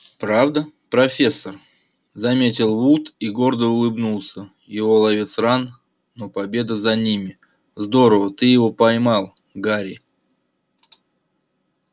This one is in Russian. правда профессор заметил вуд и гордо улыбнулся его ловец ран но победа за ними здорово ты его поймал гарри